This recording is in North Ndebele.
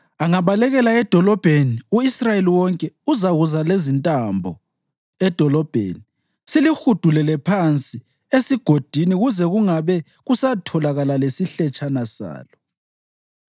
Angabalekela edolobheni u-Israyeli wonke uzakuza lezintambo edolobheni, silihudulele phansi esigodini kuze kungabe kusatholakala lesihletshana salo.”